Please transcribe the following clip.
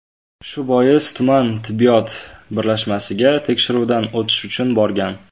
Shu bois, tuman tibbiyot birlashmasiga tekshiruvdan o‘tish uchun borgan.